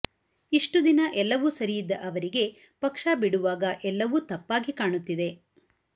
ಇಷ್ಟು ದಿನ ಎಲ್ಲವೂ ಸರಿಯಿದ್ದ ಅವರಿಗೆ ಪಕ್ಷ ಬಿಡುವಾಗ ಎಲ್ಲವೂ ತಪ್ಪಾಗಿ ಕಾಣುತ್ತಿದೆ